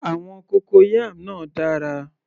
Àwọn cocoyam náà dára